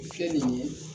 Kɛ nin ye